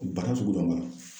Bana sugu dɔ b'a la